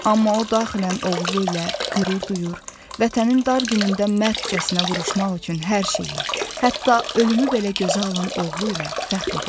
Amma o daxilən oğlu ilə qürur duyur, vətənin dar günündə mərdcəsinə vuruşmaq üçün hər şeyi, hətta ölümü belə gözə alan oğlu ilə fəxr edirdi.